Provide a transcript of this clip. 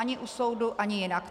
Ani u soudu ani jinak.